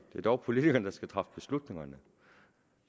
er dog politikerne der skal træffe beslutningerne